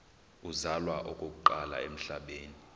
uzalwa okokuqala emhlabeni